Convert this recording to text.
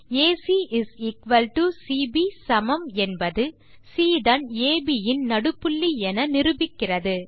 AC CB சமம் என்பது C தான் அப் இன் நடுப்புள்ளி என நிரூபிக்கிறது